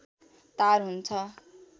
तार हुन्छ